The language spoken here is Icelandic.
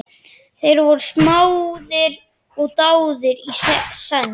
Þeir voru smáðir og dáðir í senn.